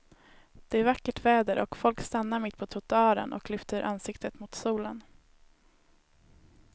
Det är vackert väder och folk stannar mitt på trottoaren och lyfter ansiktet mot solen.